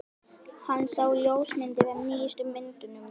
Hann sá ljósmyndir af nýjustu myndunum mínum.